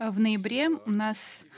а в ноябре у нас